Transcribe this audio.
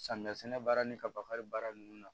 Samiya sɛnɛ baara ni kabali baara nunnu na